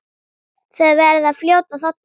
Þau verða fljót að þorna.